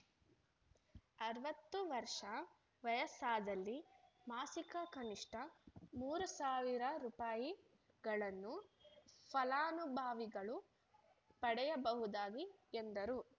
ಅರವತ್ತು ವರ್ಷ ವಯಸ್ಸಾದಲ್ಲಿ ಮಾಸಿಕ ಕನಿಷ್ಠ ಮೂರು ಸಾವಿರ ರೂಪಾಯಿಗಳನ್ನು ಫಲಾನುಭವಿಗಳು ಪಡೆಯಬಹುದಾಗಿ ಎಂದರು